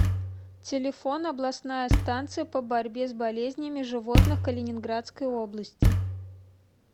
телефон областная станция по борьбе с болезнями животных калининградской области